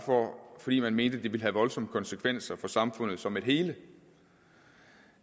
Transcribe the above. fordi man mente at det ville have voldsomme konsekvenser for samfundet som et hele